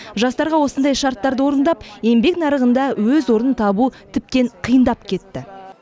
жастарға осындай шарттарды орындап еңбек нарығында өз орнын табу тіптен қиындап кетті